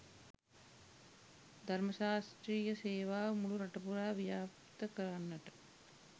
ධර්ම ශාස්ත්‍රිය සේවාව මුළු රටපුරා ව්‍යප්ත කරන්නට